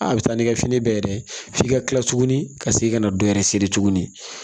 A bɛ taa n'i ka fini bɛɛ ye dɛ f'i ka kila tuguni ka segin ka na dɔ yɛrɛ seri tuguni